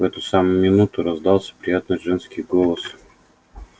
в эту самую минуту раздался приятный женский голос